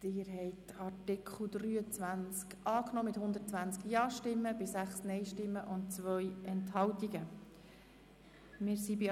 Sie haben dem Artikel 32 mit 119 Ja- gegen 5 Nein-Stimmen bei 3 Enthaltungen zugestimmt.